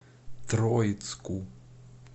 троицку